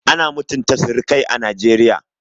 Ana mutunta surukai a Najeriya